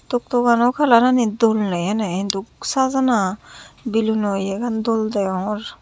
tuk tuk ano kalarani dol nei ene hintu sajana biluno iyegan dol degongor.